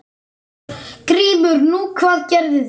GRÍMUR: Nú, hvað gerðu þeir?